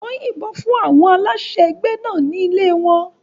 Wọ́n yìnbọn fún àwọn aláṣẹ ẹgbẹ́ náà ní ilé wọn.